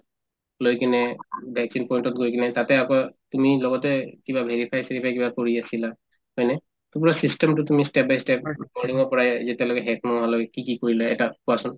লৈ কিনে vaccine point তত গৈ কিনে তাতে আকৌ তুমি লগতে কিবা verify চেৰিফাই কিবা কৰি আছিলা হয়নে to পূৰা system তো তুমি step by step কৰিব যেতিয়ালৈকে শেষ নোহোৱালৈ কি কি কৰিলা এটা কোৱাচোন